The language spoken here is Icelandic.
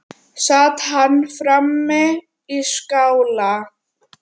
Sat hann frammi í skála.